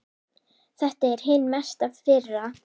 Þetta er hin mesta firra.